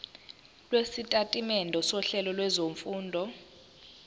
lwesitatimende sohlelo lwezifundo